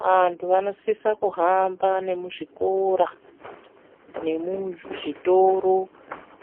Vantu vanosisa kuhamba nemuzvikora nemuzvitoro